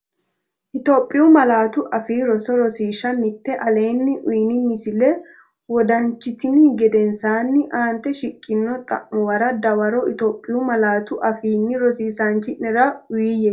Itophiyu Malaatu Afii Roso Rosiishsha Mite Aleenni uyini misilla wodanchitini gedensaanni aante shiqqino xa’mu- wara dawaro Itophiyu malaatu afiinni rosiisaanchi’nera uuyye.